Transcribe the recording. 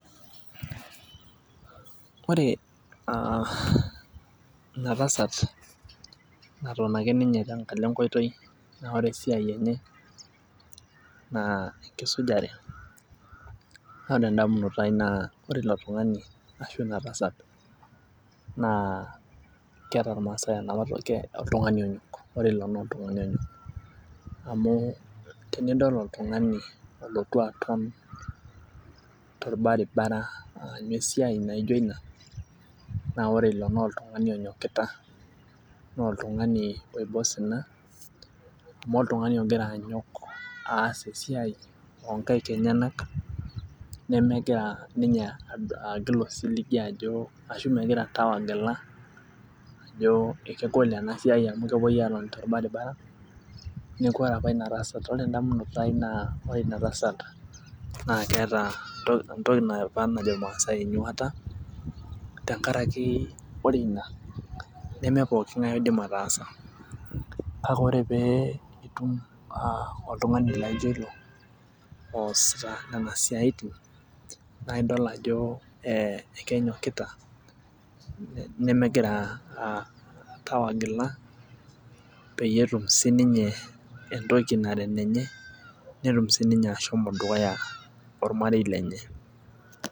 Ore aa ena tasata naton ake ninye tenkalo enkoitoi, naa enkisujare. naa ore too damunot ainei naa ore ilo tungani Ina tasat naa keeta irmaasae enapa toki oltungani onyok. amu tenidol oltungani ,olotu aton tolbaribara aanyu esiai naijo Ina, naa ore ilo naa oltungani onyokita, naa. Oltungani oiba osina. amu oltungani ogira anyok, aas esiai oo nkaik enyenak. nemegira ninye agil osiligi, ajo ashu megirae oltau agila ajo ekegol ena siai amu kepuoi aatoni tolbaribara. neeku ore apa Ina. Tasat ore edamunoto ai naa ore Ina tasat naa keeta entoki apa naijo irmaasae enyuata. tenkataki ore Ina neme pookingae oidim ataasa. kake ore pee itum oltungani laijo ilo, eesita Nena siatin naa idol ajo ekenyokita. nemegira Tau agila, peyie etum sii ninye entoki nara enenye. netum sii ninye ashomo dukuya ormarei lenye.